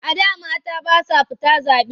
A da mata ba sa fita zaɓe.